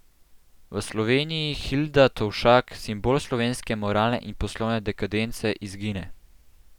V Sloveniji Hilda Tovšak, simbol slovenske moralne in poslovne dekadence, izgine.